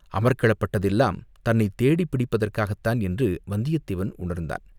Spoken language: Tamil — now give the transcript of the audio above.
அமர்க்களப்பட்டதெல்லாம் தன்னைச் தேடிப் பிடிப்பதற்காகத்தான் என்று வந்தியத்தேவன் உணர்ந்தான்.